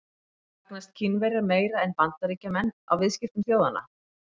Hagnast Kínverjar meira en Bandaríkjamenn á viðskiptum þjóðanna?